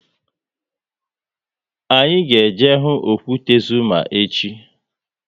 Anyị ga eje hụ okwute Zuma echi